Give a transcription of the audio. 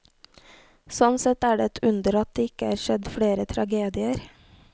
Sånn sett er det et under at det ikke er skjedd flere tragedier.